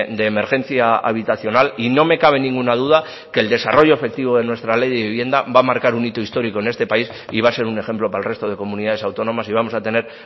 de emergencia habitacional y no me cabe ninguna duda que el desarrollo efectivo de nuestra ley de vivienda va a marcar un hito histórico en este país y va a ser un ejemplo para el resto de comunidades autónomas y vamos a tener